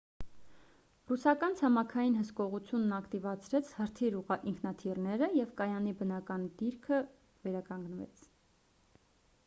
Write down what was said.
ռուսական ցամաքային հսկողությունն ակտիվացրեց հրթիռ ինքնաթիռները և կայանի բնականոն դիրքը վերականգնվեց